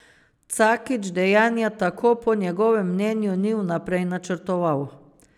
Cakić dejanja tako po njegovem mnenju ni vnaprej načrtoval.